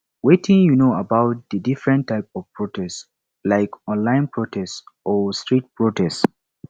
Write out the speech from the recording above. wetin you know about di different types of protest like online protests or street protest